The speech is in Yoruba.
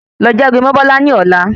Lọ jágbe mó Bọla ní ọlá